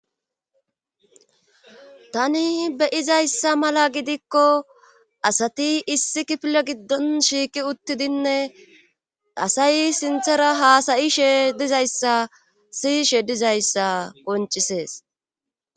Tani beyizayssa mala gidikko asati issi kifile giddon shiiki uttidinne asay sinthara haasayishe dizayssa siyishe dizayssa qoncisees.